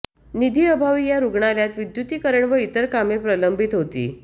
निधीअभावी या रुग्णालयात विद्युतीकरण व इतर कामे प्रलंबित होती